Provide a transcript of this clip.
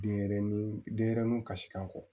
Denɲɛrɛnin denɲɛrɛninw kasikanko